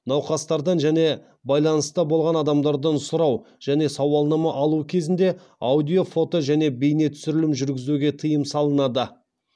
науқастардан және байланыста болған адамдардан сұрау және сауалнама алу кезінде аудио фото және бейне түсірілім жүргізуге тыйым салынады